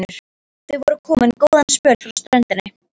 Þau voru komin góðan spöl frá ströndinni.